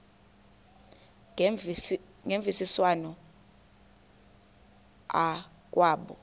ngemvisiswano r kwabo